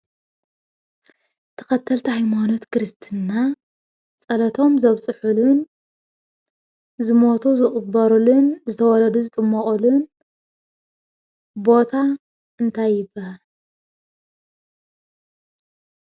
ተኸተልቲ ኣይማኖት ክርስትና ጸለቶም ዘብጽሑሉን ዝሞቱ ዝቕበሩሉን ዝተወለዱ ዝጥመቕሉን ቦታ እንታይ ይብሃል?